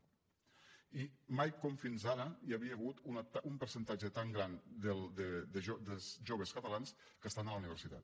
i mai com fins ara hi havia hagut un percentatge tan gran de joves catalans que estan a la universitat